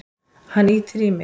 Hann ýtir í mig.